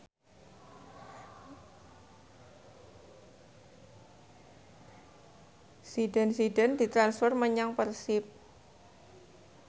Zidane Zidane ditransfer menyang Persib